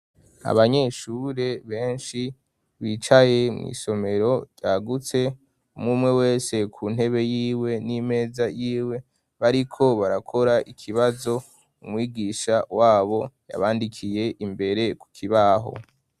abanyeshure benshi bicaye mu isomero ryagutse, umumwe wese ku ntebe y'iwe n'imeza y'iwe, bariko barakora ikibazo, umwigisha wabo yabandikiye imbere ku kibaho.